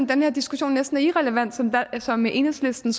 den her diskussion næsten er irrelevant som som enhedslisten